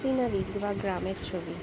চিনা দেখতে পা গ্রামের ছবি।